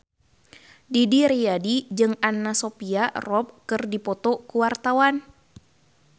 Didi Riyadi jeung Anna Sophia Robb keur dipoto ku wartawan